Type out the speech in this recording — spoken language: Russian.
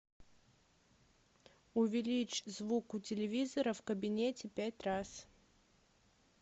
увеличь звук у телевизора в кабинете пять раз